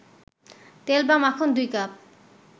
তেল বা মাখন ২ কাপ